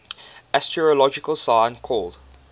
astrological sign called